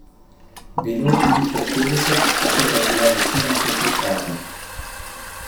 Bilo jih je le petdeset, tako da je bila večina klopi praznih.